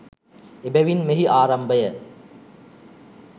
එබැවින් මෙහි ආරම්භය